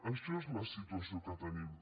això és la situació que tenim